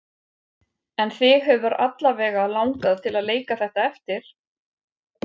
En þig hefur alla vega langað til að leika þetta eftir?